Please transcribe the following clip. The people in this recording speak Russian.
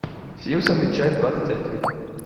симпсоны часть двадцать один